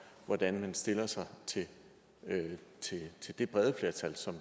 hvordan man stiller sig til det brede flertals